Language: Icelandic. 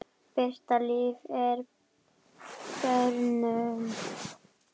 Birta Líf er börnuð.